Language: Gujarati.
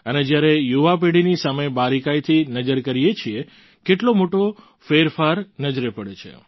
અને જ્યારે યુવા પેઢીની સામે બારીકાઈથી નજર કરીએ છીએ કેટલો મોટો ફેરફાર નજરે પડે છે